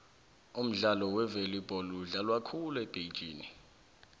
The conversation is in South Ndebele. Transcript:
umdlalo wevolibholo udlalwa khulu ebhitjhini